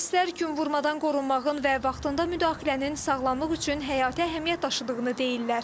Mütəxəssislər günvurmadan qorunmağın və vaxtında müdaxilənin sağlamlıq üçün həyati əhəmiyyət daşıdığını deyirlər.